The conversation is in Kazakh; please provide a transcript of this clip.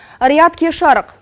риат кеш жарық